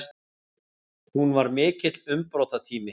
Hún var mikill umbrotatími.